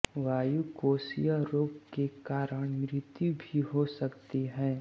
वायुकोषीय रोग के काण मृत्यु भी हो सकती है